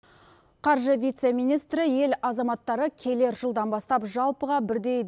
қаржы вице министрі ел азаматтары келер жылдан бастап жалпыға бірдей